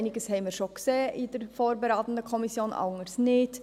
Einiges haben wir in der vorberatenden Kommission schon gesehen, anderes nicht.